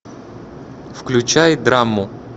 включай драму